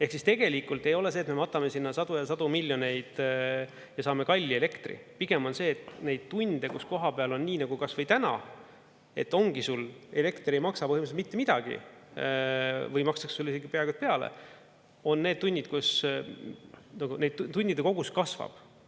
Ehk siis tegelikult ei ole see, et me matame sinna sadu ja sadu miljoneid ja saame kalli elektri, vaid pigem on see, et neid tunde, kus koha peal on nii nagu kas või täna, et ongi sul elekter, mis ei maksa põhimõtteliselt mitte midagi või makstakse sulle isegi peaaegu peale, on need tunnid, kus neid tundide kogus kasvab.